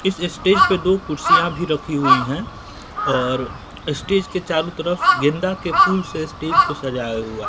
इस स्टेज पे दो कुर्सियां भी रखी हुई है और स्टेज के चारों तरफ गेंदा के फूल से स्टेज को सजाया हुआ--